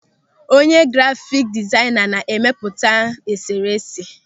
Onye grafiki dizaịna na-emepụta e sere ese.